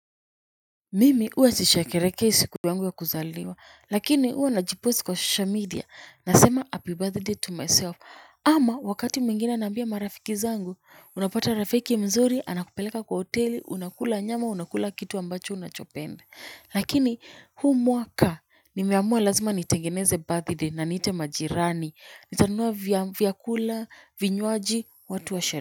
Mimi huwa sisheherekei siku yangu ya kuzaliwa, lakini huwa najiposti kwa social media, nasema happy birthday to myself, ama wakati mwingine naambia marafiki zangu, unapata rafiki mzuri anakupeleka kwa hoteli, unakula nyama, unakula kitu ambacho unachopenda. Lakini huu mwaka nimeamua lazima nitengeneze birthday na niite majirani, nitanunua vyakula, vinywaji, watu wa.